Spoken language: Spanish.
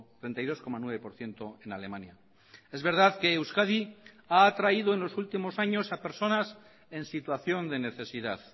treinta y dos coma nueve por ciento en alemania es verdad que euskadi ha atraído en los últimos años a personas en situación de necesidad